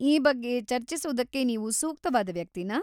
ಈ ಬಗ್ಗೆ ಚರ್ಚಿಸೋದಕ್ಕೆ ನೀವು ಸೂಕ್ತವಾದ ವ್ಯಕ್ತಿನಾ?